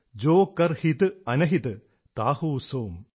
ജോ കർ ഹിത് അന്ഹിത് താഹൂ സോം